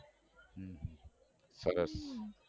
સરસ